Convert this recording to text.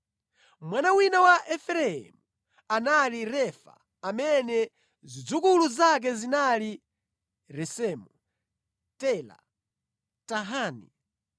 Mwana wina wa Efereimu anali Refa amene zidzukulu zake zinali Resefu, Tela, Tahani,